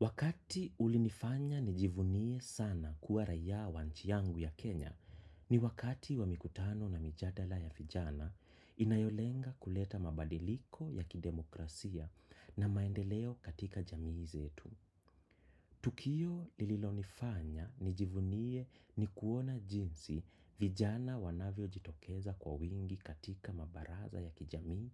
Wakati ulinifanya nijivunie sana kuwa raiya wa nchi yangu ya Kenya ni wakati wa mikutano na mijadala ya vijana inayolenga kuleta mabadiliko ya kidemokrasia na maendeleo katika jamii zetu. Tukio lililonifanya nijivunie ni kuona jinsi vijana wanavyojitokeza kwa wingi katika mabaraza ya kijamii,